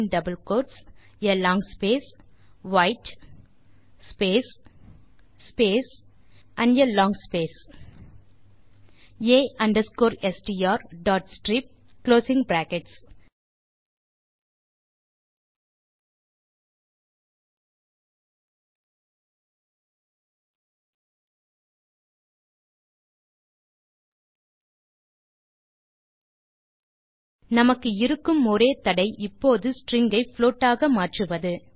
a str white space a strstrip நமக்கு இருக்கும் ஒரே தடை இப்போது ஸ்ட்ரிங் ஐ புளோட் ஆக மாற்றுவது